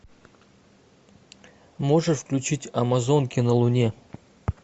можешь включить амазонки на луне